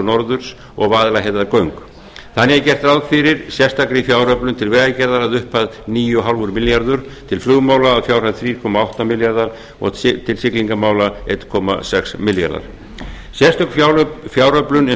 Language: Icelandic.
norðurs og vaðlaheiðargöng þannig er gert ráð fyrir sérstakri fjáröflun til vegagerðar að upphæð níu og hálfur milljarður til flugmála að upphæð þrjú komma átta milljarðar og til siglingamála einn komma sex milljarðar sérstök fjáröflun eins